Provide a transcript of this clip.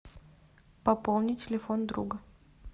пополнить телефон друга